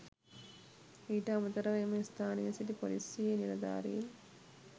ඊට අමතරව එම ස්ථානයේ සිටි පොලිසියේ නිලධාරීන්